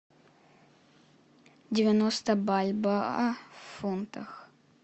девяносто бальбоа в фунтах